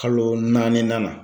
Kalo naani na.